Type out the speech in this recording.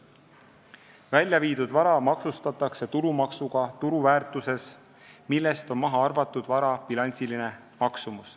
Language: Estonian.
Väljaviidud raha maksustatakse tulumaksuga turuväärtuses, millest on maha arvatud vara bilansiline maksumus.